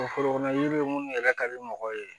forokɔnɔ yiri minnu yɛrɛ ka di mɔgɔw ye